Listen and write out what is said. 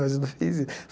Mas eu não fiz.